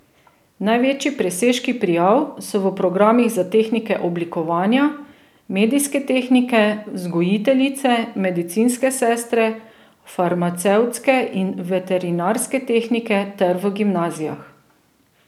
Največji presežki prijav so v programih za tehnike oblikovanja, medijske tehnike, vzgojiteljice, medicinske sestre, farmacevtske in veterinarske tehnike ter v gimnazijah.